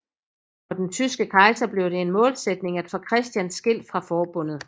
For den tyske kejser blev det en målsætning at få Christian skilt fra forbundet